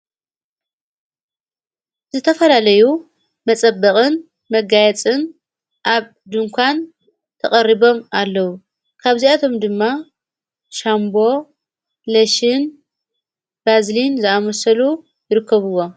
ዝተፈላለዩ መጸበቕን መጋየጽን ኣብ ድንኳን ተቐሪቦም ኣለዉ ካብ ዚኣቶም ድማ ሻምቦ ለሽን ባዝልን ዝኣመሰሉ ይርከብዎም።